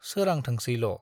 सोरांथोंसैल'।